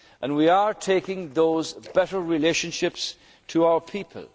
deeper. We are taking those better relationships to